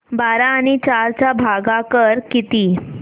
बारा आणि चार चा भागाकर किती